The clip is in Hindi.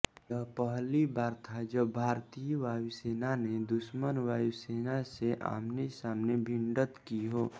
यह पहली बार था जब भारतीय वायुसेना ने दुश्मन वायुसेना से आमनेसामने भिडंत की हो